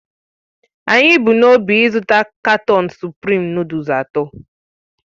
Anyị bu n'obi ịzụta katọọnu suprịm nụdụlsu atọ.